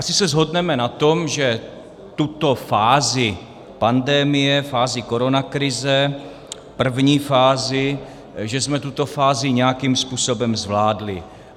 Asi se shodneme na tom, že tuto fázi pandemie, fázi koronakrize, první fázi, že jsme tuto fázi nějakým způsobem zvládli.